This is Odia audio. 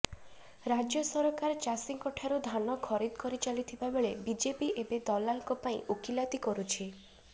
ରାଜ୍ୟ ସରକାର ଚାଷୀଙ୍କ ଠାରୁ ଧାନ ଖରିଦ କରିଚାଲିଥିବାବେଳେ ବିଜେପି ଏବେ ଦଲାଲଙ୍କ ପାଇଁ ଓକିଲାତି କରୁଛି